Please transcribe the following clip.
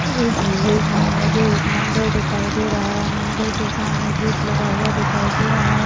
इस इमेज में मुझे एक मंदिर दिखाई दे रहा हैं मंदिर के सामने गेट लगा हुआ दिखाई दे रहा हैं।